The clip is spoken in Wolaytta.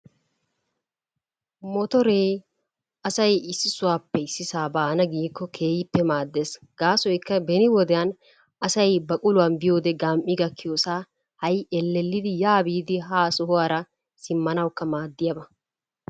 Motoree asay issi sohuwappe ississaa baanaa giikko keehippe maaddees. Gaassoykka beni wodiyan asay baqquluwan biyode gami gakkiyossaa ha'i elellidi yaa biidi haa sohuwara simmanawukka maadiyaba